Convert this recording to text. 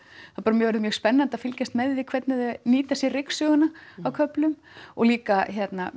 mjög orðið mjög spennandi að hvernig þau nýta sér ryksuguna á köflum og líka